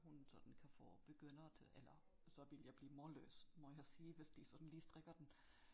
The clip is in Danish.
Hun sådan kan få begyndere til eller så ville jeg blive målløs må jeg sige hvis de sådan lige strikker den